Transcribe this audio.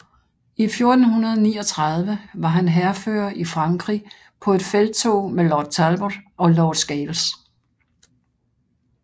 I 1439 var han hærfører i Frankrig på et felttog med Lord Talbot og Lord Scales